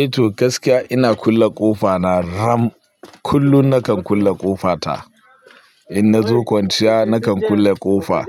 Eh to gaskiya ina kulle ƙofa na ram. Kullum na kan kulle ƙofa ta. In na zo kwanciya na kan kulle ƙofa.